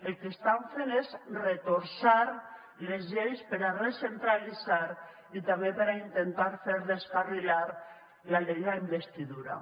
el que estan fent és retorçar les lleis per a recentralitzar i també per a intentar fer descarrilar la investidura